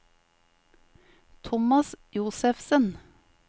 Thomas Josefsen